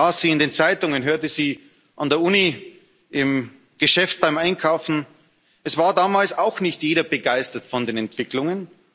Ich las sie in den Zeitungen, hörte sie an der Universität, im Geschäft, beim Einkaufen. Es war damals auch nicht jeder begeistert von den Entwicklungen.